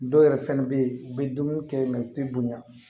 Dɔw yɛrɛ fɛnɛ bɛ ye u bɛ dumuni kɛ u tɛ bonya